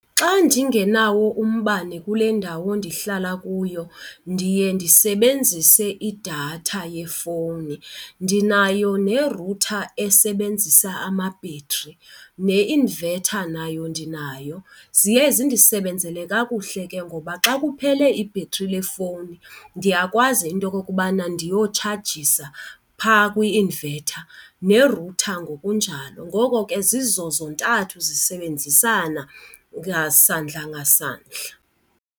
Xa ndingenawo umbane kule ndawo ndihlala kuyo ndiye ndisebenzise idatha yefowuni. Ndinayo ne-router esebenzisa amabhetri ne-inverter nayo ndinayo. Ziye zindisisebenzele kakuhle ke ngoba xa kuphele ibhetri lefowuni ndiyakwazi into yokokubana ndiyotshajisa phaa kwi-inverter ne-router ngokunjalo. Ngoko ke zizo zontathu zisebenzisana ngasandla ngasandla.